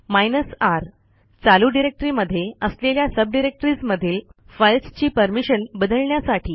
hyphen R चालू directory मध्ये असलेल्या सबडिरेक्टरीज मधील फाईल्सची परमिशन बदलण्यासाठी